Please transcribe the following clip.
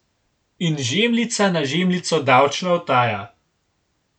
In žemljica na žemljico davčna utaja!